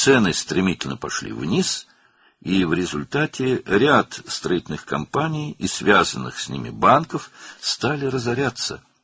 Qiymətlər kəskin şəkildə aşağı düşdü və nəticədə bir sıra tikinti şirkətləri və onlarla əlaqəli banklar iflas etməyə başladı.